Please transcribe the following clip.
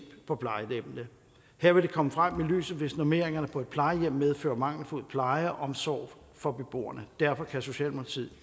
på plejehjemmene her vil det komme frem i lyset hvis normeringerne på et plejehjem medfører mangelfuld pleje og omsorg for beboerne derfor kan socialdemokratiet